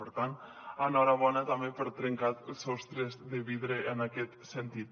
per tant enhorabona també per trencar sostres de vidre en aquest sentit